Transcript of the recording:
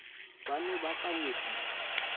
ba ne ba ka nyopisa